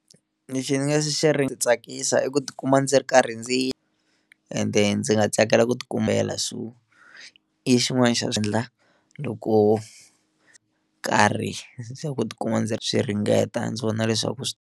Lexi ndzi nga xi tsakisa i ku tikuma ndzi ri karhi ndzi ende ndzi nga tsakela ku ti kumela so i xin'wana xa xiendla loko karhi ndzi ku tikuma ndzi swi ringeta ndzi vona leswaku swi.